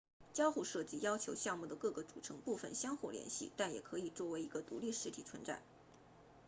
交互设计要求项目的各个组成部分相互联系但也可以作为一个独立实体存在